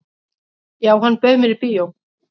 """Já, hann bauð mér í bíó."""